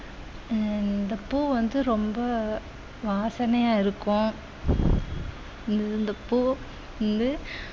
உம் இந்த பூ வந்து ரொம்ப வாசனையா இருக்கும் இந்த இந்த பூ வந்து